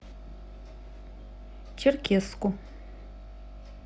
черкесску